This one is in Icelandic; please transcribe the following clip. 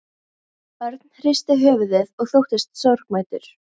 Örn hristi höfuðið og þóttist sorgmæddur.